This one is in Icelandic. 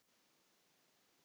Geturðu svarað því?